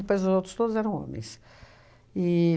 Depois, os outros todos eram homens.